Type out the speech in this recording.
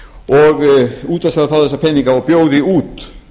og útvarpsráð fái þessa peninga og bjóði út